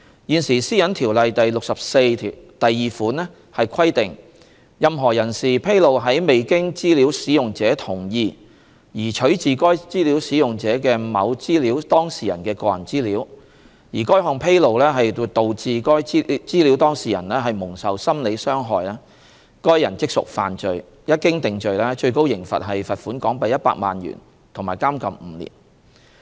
現時《私隱條例》第642條規定，任何人士披露在未經資料使用者同意而取自該資料使用者的某資料當事人的個人資料，而該項披露導致該資料當事人蒙受心理傷害，該人即屬犯罪，一經定罪，最高刑罰是罰款港幣100萬元及監禁5年。